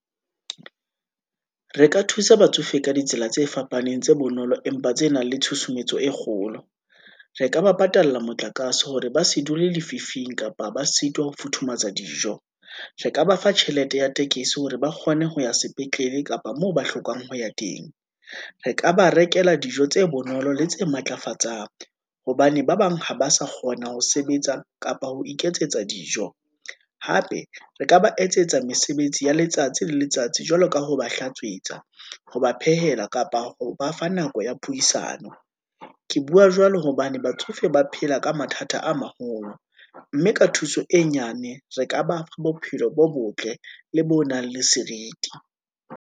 Re ka thusa batsofe ka ditsela tse fapaneng, tse bonolo empa tse nang le tshusumetso e kgolo. Re ka ba patalla motlakase hore ba se dule lefifing, kapa ba sitwa ho futhumatsa dijo. Re ka ba fa tjhelete ya tekesi hore ba kgone ho ya sepetlele kapa moo ba hlokang ho ya teng. Re ka ba rekela dijo tse bonolo le tse matlafatsang, hobane ba bang ha ba sa kgona ho sebetsa, kapa ho iketsetsa dijo. Hape re ka ba etsetsa mesebetsi ya letsatsi le letsatsi, jwalo ka ha ba hlatswetsa, ha ba phehela, kapa ho ba fa nako ya puisano. Ke bua jwalo hobane batsofe ba phela ka mathata a maholo, mme ka thuso e nyane, re ka ba bophelo bo botle le bo nang le seriti.